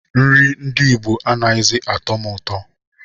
Nri ndị Igbo anaghịzi atọ m ụtọ